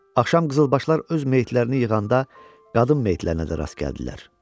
Axşam qızılbaşlar öz meyitlərini yığanda, qadın meyitlərinə də rast gəldilər.